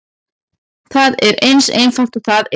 Það er eins einfalt og það er.